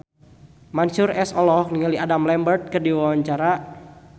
Mansyur S olohok ningali Adam Lambert keur diwawancara